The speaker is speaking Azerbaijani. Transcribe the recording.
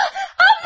Ablam!